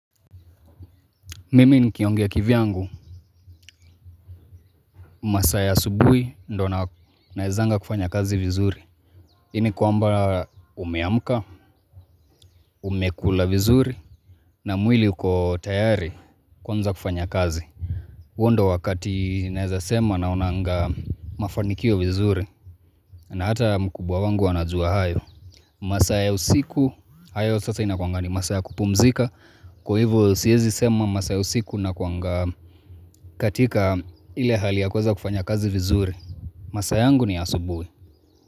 Mimi nikiongea kivyangu, masaa ya asubui ndo na naezanga kufanya kazi vizuri. Ini kwamba umeamka, umekula vizuri, na mwili uko tayari kuanza kufanya kazi. Huo ndo wakati naeza sema naonanga mafanikio vizuri, na hata mkubwa wangu anajua hayo. Masaa ya usiku, hayo sasa inakwanga ni masaa ya kupumzika. Kwa hivyo siezi sema masaa ya usiku nakwanga katika ile hali ya kuweza kufanya kazi vizuri. Masaa yangu ni asubuhi.